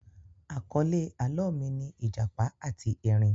Àkọ́lé àlọ́ mi ni ìjàpá àti erin